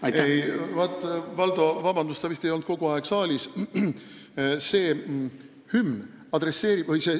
Valdo, palun vabandust, aga sa vist ei ole kogu aeg saalis olnud.